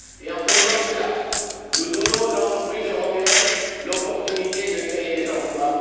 En faisant cela, nous donnons aux entreprises européennes l'occasion de créer des emplois.